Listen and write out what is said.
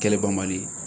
Kɛli banbali